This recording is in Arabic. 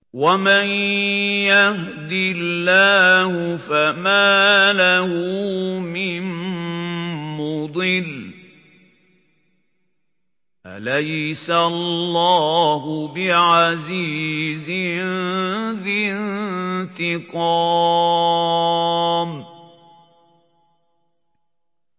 وَمَن يَهْدِ اللَّهُ فَمَا لَهُ مِن مُّضِلٍّ ۗ أَلَيْسَ اللَّهُ بِعَزِيزٍ ذِي انتِقَامٍ